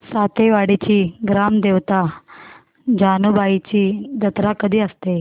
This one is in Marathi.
सातेवाडीची ग्राम देवता जानुबाईची जत्रा कधी असते